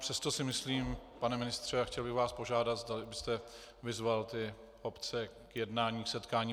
Přesto si myslím, pane ministře, a chtěl bych vás požádat, zdali byste vyzval ty obce k jednání, k setkání.